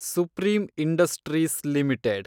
supreme Industries limited